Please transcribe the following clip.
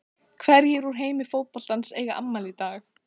Hverjir úr heimi fótboltans eiga afmæli í dag?